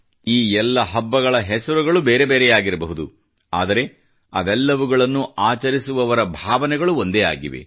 ಈ ಎಲ್ಲ ಹಬ್ಬಗಳ ಹೆಸರುಗಳು ಬೇರೆ ಬೇರೆಯಾಗಿರಬಹುದು ಆದರೆ ಅವುಗಳೆಲ್ಲವನ್ನು ಆಚರಿಸುವವರ ಭಾವನೆಗಳು ಒಂದೇ ಆಗಿವೆ